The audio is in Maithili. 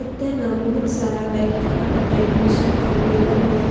एता न बहुत सारा व्यक्ति अपन एडमिशन करवे लगय।